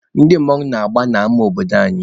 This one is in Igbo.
Ndị mmanwụ na-agba n'ama obodo tata.